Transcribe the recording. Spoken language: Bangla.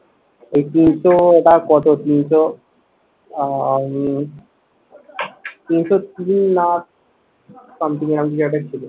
একদিন তো ওটা কত তিনশো আহ উম তিনশো তিন না something এরম কিছু একটা ছিল।